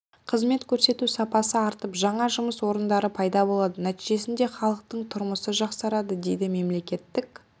қызмет көрсету сапасы артып жаңа жұмыс орындары пайда болады нәтижесінде халықтың тұрмысы жақсарады дейді мемлекеттік